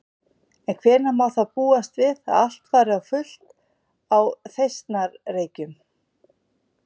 En hvenær má þá búast við að allt fari á fullt á Þeistareykjum?